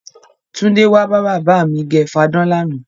Túndé wá bá bàbá mi gẹ fadán lánàá.